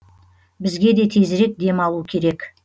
бізге де тезірек дем алу керек